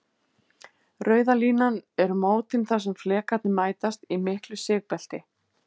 Rauða línan eru mótin þar sem flekarnir mætast, í miklu sigbelti.